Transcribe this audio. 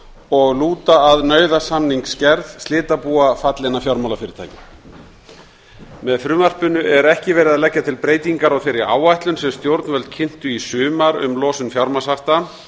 og lúta að nauðasamningagerð slitabúa fallinna fjármálafyrirtækja með frumvarpinu er ekki verið að leggja til breytinga á þeirri áætlun sem stjórnvöld kynntu í sumar um losun fjármagnshafta